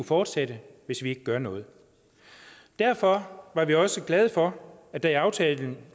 fortsætte hvis vi ikke gør noget derfor var vi også glade for at der i aftalen